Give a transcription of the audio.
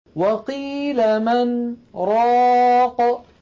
وَقِيلَ مَنْ ۜ رَاقٍ